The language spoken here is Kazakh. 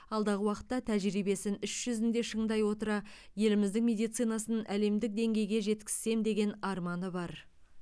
алдағы уақытта тәжірибесін іс жүзінде шыңдай отыра еліміздің медицинасын әлемдік деңгейге жеткізсем деген арманы бар